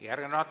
Aitäh!